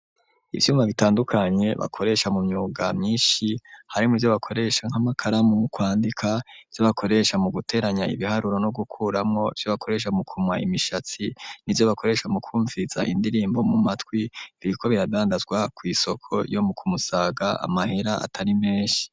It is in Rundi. Ivyuma bitandukanye bakoresha mu myuga myinshi ,harimwo ivyo bakoresha nk'amakaramu kwandika, ivyo bakoresha mu guteranya ibiharuro no gukuramwo, ivyo bakoresha mu kumwa imishatsi, n'ivyo bakoresha mu kumviriza indirimbo mu matwi ,biriko birabandazwa kw'isoko yo mu Kumusaga amahera atari menshi.